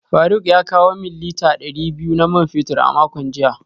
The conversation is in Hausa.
Faruk ya kawo min lita dari biyu na man fetur a makon jiya